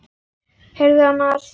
Heyrðu annars.